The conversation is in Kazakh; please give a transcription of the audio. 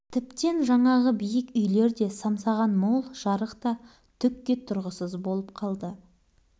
тіптен жаңағы биік үйлер де самсаған мол жарық та түкке тұрғысыз болып қалды